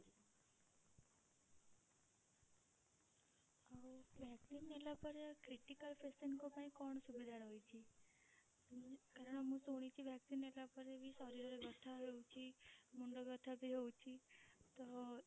ଆଉ vaccine ନେଲା ପରେ critical patient ଙ୍କ ପାଇଁ କଣ ସୁବିଧା ରହୁଛି? କାରଣ ମୁଁ ଶୁଣିଛି vaccine ନେଲା ପରେ ବି ଶରୀରରେ ବ୍ୟଥା ହୋଉଛି ମୁଣ୍ଡ ବ୍ୟଥା ବି ହୋଉଛି ତ